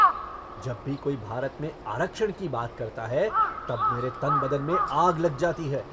जब भी कोई भारत में आरक्षण की बात करता है तब मेरे तन बदन में आग लग जाती है।